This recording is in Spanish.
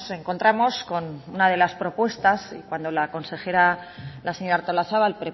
encontramos con una de las propuestas cuando la consejera la señora artolazabal